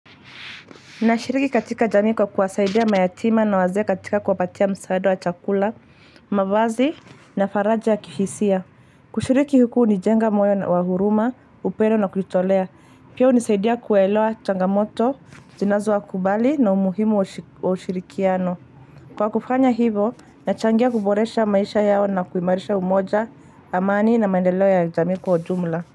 Nashiriki katika jamii kwa kuwasaidia mayatima na wazee katika kuwapatia msaada wa chakula, mavazi na faraja ya kihisia. Kushiriki huku hunijenga moyo na wa huruma, upendo na kujitolea. Pia hunisaidia kuelewa changamoto, zinazowakubali na umuhimu wa ushirikiano. Kwa kufanya hivo, nachangia kuboresha maisha yao na kuimarisha umoja, amani na maendeleo ya jamii kwa ujumla.